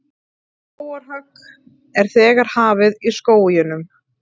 Skógarhögg er þegar hafið í skóginum